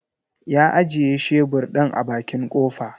Ya ajiye shebur ɗin a bakin kofa.